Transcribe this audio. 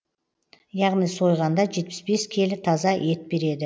яғни сойғанда жетпіс бес келі таза ет береді